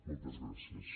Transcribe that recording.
moltes gràcies